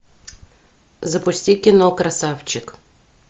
запусти кино красавчик